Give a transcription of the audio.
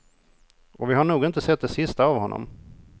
Och vi har nog inte sett det sista av honom.